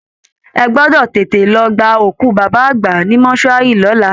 Ẹ gbọ́dọ̀ tètè lọ gba òkú baba àgbà ní mortuary lọ́la!